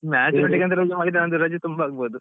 Match ನೋಡ್ಲಿಕ್ಕೆ ಅಂತ ರಜೆ ಮಾಡಿದ್ರೆ ನಂದು ತುಂಬಾ ರಜೆ ಆಗ್ಬಹುದು.